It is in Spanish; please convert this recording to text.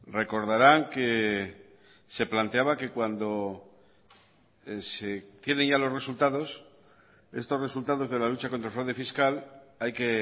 recordarán que se planteaba que cuando se tienen ya los resultados estos resultados de la lucha contra el fraude fiscal hay que